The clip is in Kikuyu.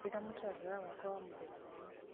njĩĩra mũtaratara wakwa wa mũthenya ũyũ